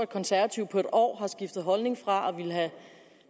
konservative på en år har skiftet holdning fra at ville have